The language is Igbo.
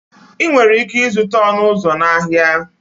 Ị nwere ike ịzụta ọnụ ụzọ na ahịa.